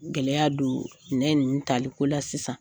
Gɛlɛya don minɛn ninnu taliko la sisan